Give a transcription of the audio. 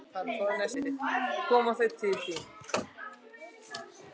Koma þau til þín?